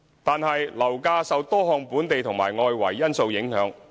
然而，樓價受多項本地和外圍因素影響。